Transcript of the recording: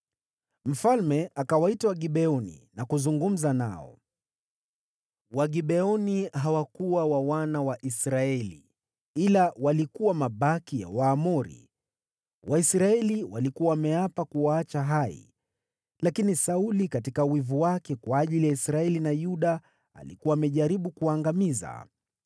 Mfalme akawaita Wagibeoni na kuzumgumza nao. (Wagibeoni hawakuwa wa wana wa Israeli, ila walikuwa mabaki ya Waamori. Waisraeli walikuwa wameapa kuwaacha hai, lakini Sauli katika wivu wake kwa ajili ya Israeli na Yuda, alikuwa amejaribu kuwaangamiza.)